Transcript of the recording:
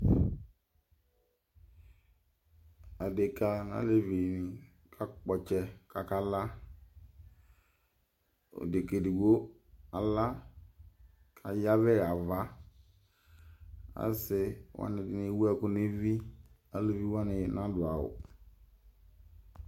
Adekǝ, alevi nɩ kakpɔ ɔtsɛ, kʋ akala Odekǝ edigbo ala, kʋ ayavɛɣa ava Asɩ wanɩ ewʋɛkʋ nʋ evi, alivi wanɩ nadʋ awʋ